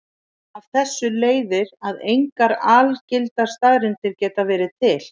Af þessu leiðir að engar algildar staðreyndir geta verið til.